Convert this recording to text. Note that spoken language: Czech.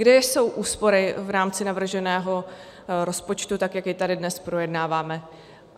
Kde jsou úspory v rámci navrženého rozpočtu, tak jak jej tady dnes projednáváme?